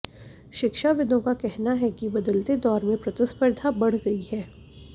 शिक्षाविदों का कहना है कि बदलते दौर में प्रतिस्पर्धा बढ़ गई है